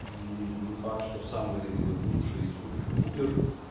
и не факт что самый лучший супер пупер